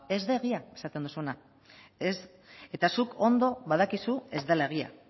ez da egia esaten duzuna ez eta zuk ondo badakizu ez dela egia